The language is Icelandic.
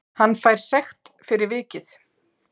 Hann fær sekt fyrir vikið